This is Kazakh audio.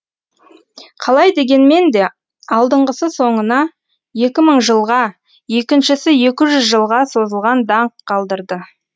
қалай дегенмен де алдыңғысы соңына екі мың жылға екіншісі екі жүз жылға созылған даңқ қалдырды